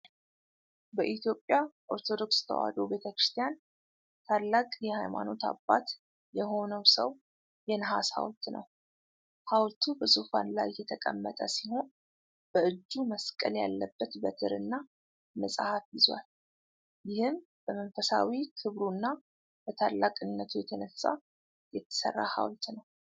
በኢትዮጵያ ኦርቶዶክስ ተዋሕዶ ቤተክርስቲያን ታላቅ የሃይማኖት አባት የሆነ ሰው የነሐስ ሐውልት ነው። ሐውልቱ በዙፋን ላይ የተቀመጠ ሲሆን፣ በእጁ መስቀል ያለበት በትር እና መጽሐፍ ይዟል። ይህም በመንፈሳዊ ክብሩና በታላቅነቱ የተነሳ የተሠራ ሀውልት ነው።